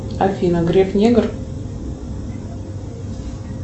афина греф негр